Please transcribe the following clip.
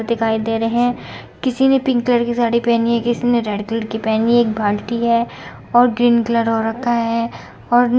किसी ने pink colour की साड़ी पहनी है | किसी ने रेड कलर की पहनी है | एक बाल्टी है और ग्रीन कलर हो रखा है और नीचे कुछ पड़ा हुआ भी है।